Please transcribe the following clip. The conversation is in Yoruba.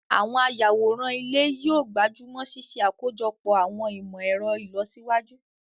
Àwọn ayàwòrán ilé yóò gbájú mọ́ ṣíṣe àkójọpọ̀ àwọn ìmọ̀ ẹ̀rọ ìlọsíwájú